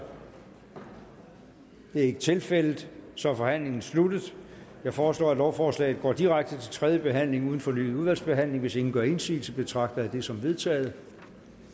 det er ikke tilfældet så er forhandlingen sluttet jeg foreslår at lovforslaget går direkte til tredje behandling uden fornyet udvalgsbehandling hvis ingen gør indsigelse betragter jeg det som vedtaget